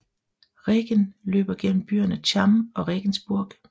Regen løber gennem byerne Cham og Regensburg